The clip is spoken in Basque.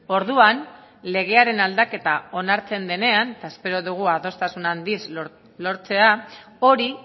orduan legearen aldaketa onartzen denean eta espero dugu adostasun handiz lortzea hori